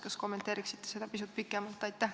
Kas kommenteeriksite seda pisut pikemalt?